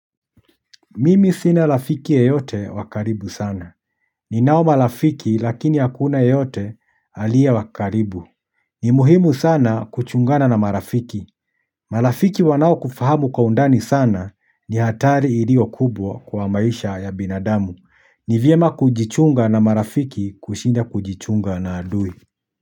Mimi sina rafiki yeyote wa karibu sana. Ni nao marafiki lakini hakuna yeyote aliye wa karibu. Ni muhimu sana kuchungana na marafiki. Marafiki wanao kufahamu kwa undani sana ni hatari ilio kubwa kwa maisha ya binadamu. Ni vyema kujichunga na marafiki kushinda kujichunga na adui.